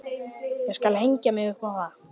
Ég skal hengja mig upp á það!